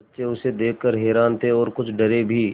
बच्चे उसे देख कर हैरान थे और कुछ डरे भी